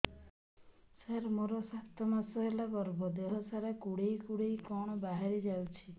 ସାର ମୋର ସାତ ମାସ ହେଲା ଗର୍ଭ ଦେହ ସାରା କୁଂଡେଇ କୁଂଡେଇ କଣ ବାହାରି ଯାଉଛି